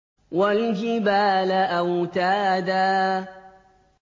وَالْجِبَالَ أَوْتَادًا